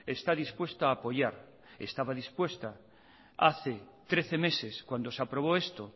está dispuesta a apoyar estaba dispuesta hace trece meses cuando se aprobó esto